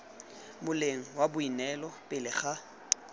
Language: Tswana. moleng wa boineelo pele ga